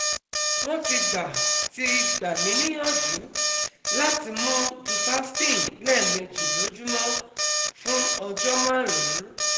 Wọ́n ti gbà ti gbà mí níyànjú láti mú duphaston lẹ́ẹ̀méjì lójúmọ́ fún ọjọ́ márùn-ún